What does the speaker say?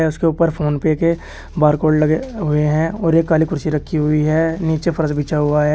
उसके ऊपर फोनपे के बार कोड़ लगे हुए है और एक काली कुर्सी रखी हुई है नीचे फर्श बिछा हुआ है।